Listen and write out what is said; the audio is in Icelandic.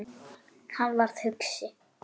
Hann varð hugsi.